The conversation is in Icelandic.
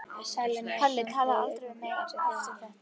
Palli talaði aldrei við mig eftir þetta.